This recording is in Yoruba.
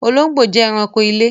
Olóngbó jẹ ẹranko ilé